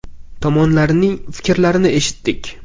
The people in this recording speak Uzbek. Tomonlarning fikrlarini eshitdik.